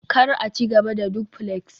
kar a ci gaba da duflex